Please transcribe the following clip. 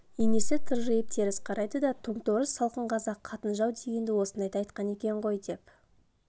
енесі тыржиып теріс қарайды да тоң-торыс салқын қазақ қатын-жау дегенді осындайда айтқан екен ғой деп